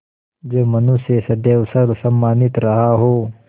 जो मनुष्य सदैव सर्वसम्मानित रहा हो